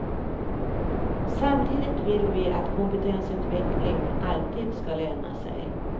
Samtidigt vill vi att kompetensutveckling alltid ska löna sig.